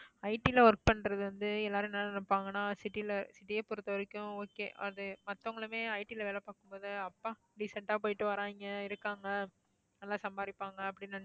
IT ல work பண்றது வந்து எல்லாரும் என்ன நினைப்பாங்கன்னா city ல city ய பொறுத்தவரைக்கும் okay அது மத்தவங்களுமே IT ல வேலை பாக்கும் போது அப்பா decent ஆ போயிட்டு வர்றாங்க இருக்காங்க நல்லா சம்பாதிப்பாங்க அப்படின்னு நினைச்சு